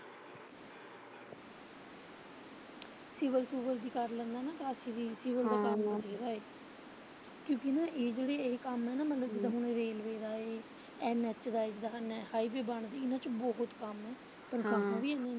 Civil ਸੁਵਲ ਵੀ ਲੈਨੇ ਆ ਕਿਉਂਕਿ ਇਹ ਜਿਹੜੇ ਇਹ ਕੰਮ ਐ ਨਾ, ਮਤਲਬ ਜਿਦਾ ਰੇਲਵੇ ਦਾ ਇਹ NH ਦਾ, ਜਿਦਾ ਹਾਈਵੇ ਬਣਦੇ ਇੰਨਾਂ ਚ ਬਹੁਤ ਕੰਮ ਏ ਪਰ ਕੰਮ ਵੀ।